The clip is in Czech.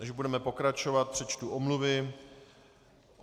Než budeme pokračovat, přečtu omluvy.